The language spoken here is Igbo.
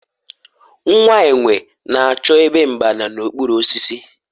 nwa enwe na-achọ ebe mgbaba n'okpuru osisi